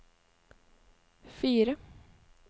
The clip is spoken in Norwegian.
fire